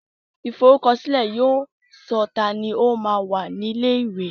Ìforúkọsílẹ̀ yóò sọ tani o máa ń wá ilé ìwé